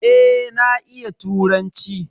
Eh na iya turanci.